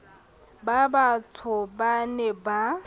ba batsho ba ne ba